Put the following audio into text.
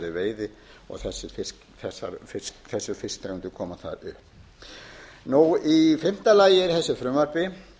í blandaðri veiði og þessar fisktegundir koma þar upp í fimmta lagi er í þessu frumvarpi